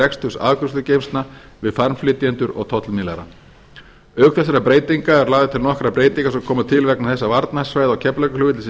reksturs afgreiðslugeymslna við farmflytjendur og tollmiðlara auk þessara breytinga eru lagðar til nokkrar breytingar sem koma til vegna þess að varnarsvæðið á keflavíkurflugvelli sem